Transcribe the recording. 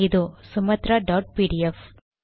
இதோ Sumatra dot PDF